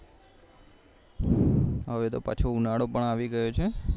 હવે તો પાછો ઉનાળો પણ આવી ગ્યો છે